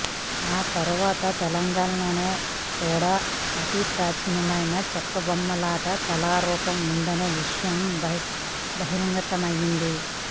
ఆ తర్వాత తెలంగాణలోనే కూడా అతి ప్రాచీనమైన చెక్కబొమ్మలాట కళారూపం ఉందనే విషయం బహిర్గతమైంది